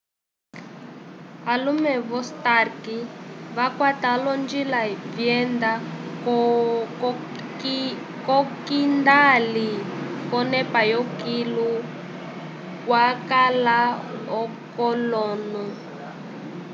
alume vo-stark vakwata olonjila vyenda k'okindali k'onepa yokilu kwakala k'olonu